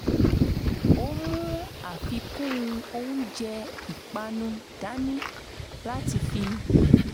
ó mú àfikún oúnjẹ ìpánu dání láti fi